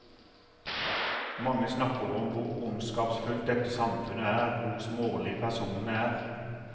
Mange snakker om hvor ondskapsfullt dette samfunnet er, hvor smålige personene er.